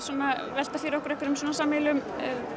velta fyrir okkur sameiginlegum